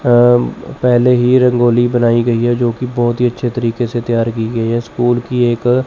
अं पेहले ही रंगोली बनाई गई है जो की बहोत ही अच्छे तरीके से तैयार की गई है स्कूल की एक--